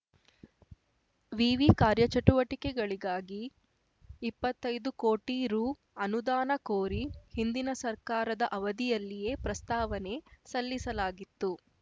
ವಿವಿ ಕಾರ್ಯಚಟುವಟಿಕೆಗಳಿಗಾಗಿ ಇಪ್ಪತ್ತೈದು ಕೋಟಿ ರು ಅನುದಾನ ಕೋರಿ ಹಿಂದಿನ ಸರ್ಕಾರದ ಅವಧಿಯಲ್ಲಿಯೇ ಪ್ರಸ್ತಾವನೆ ಸಲ್ಲಿಸಲಾಗಿತ್ತು